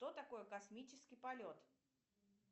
что такое космический полет